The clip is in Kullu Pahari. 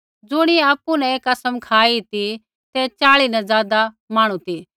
ज़ुणियै आपु न ऐ कसम खाई ती ते च़ाही न ज़ादा मांहणु ती